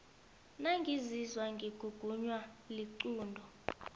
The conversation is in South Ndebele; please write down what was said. nangizizwa ngigugunwa liqunto